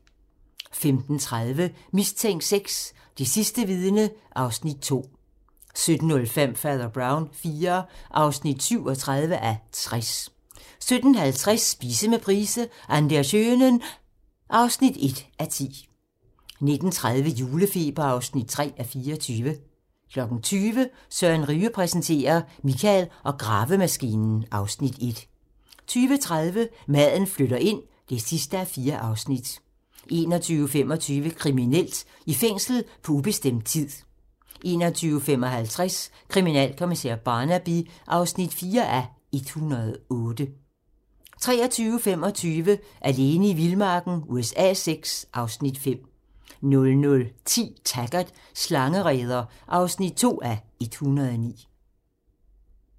15:30: Mistænkt VI: Det sidste vidne (Afs. 2) 17:05: Fader Brown IV (37:60) 17:50: Spise med Price - An der schönen ... (1:10) 19:30: Julefeber (3:24) 20:00: Søren Ryge præsenterer - Michael og gravemaskinen (Afs. 1) 20:30: Maden flytter ind (4:4) 21:25: Kriminelt: I fængsel på ubestemt tid 21:55: Kriminalkommissær Barnaby (4:108) 23:25: Alene i vildmarken USA VI (Afs. 5) 00:10: Taggart: Slangereder (2:109)